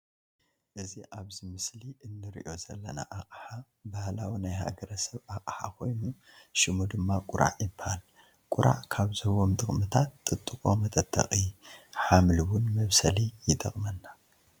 እዚ ኣብዚ ምስሊ እንርእዮ ዘለና ኣቅሓ ባህላዊ ናይ ሃገረሰብ ኣቅሓ ኮይኑ ሽሙ ድማ ቁራዕ ይባሃል። ቁራዕ ካብ ዝህቦም ጥቅምታት ጥጥቆ መጠጠቂ፣ ሓምሊ እውን መብሰሊ ይጠቅመና።